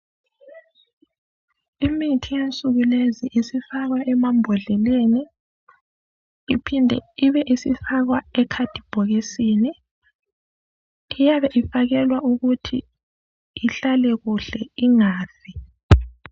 Imithi yensuku lezi isifakwa emambodleleni iphinde ibe isifakwa emacardbhokisini. Iyabe ifakelwa ukuthi ihlale kuhle ingafi